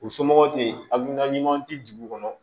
U somɔgɔw tɛ yen a hakilina ɲuman tɛ dugu kɔnɔ